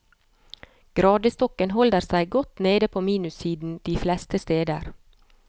Gradestokken holder seg godt nede på minussiden de fleste steder.